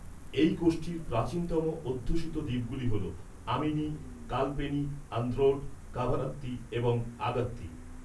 এই গোষ্ঠীর প্রাচীনতম অধ্যুষিত দ্বীপগুলি হল আমিনি, কালপেনি আন্দ্রোট, কাভারাত্তি এবং আগাত্তি।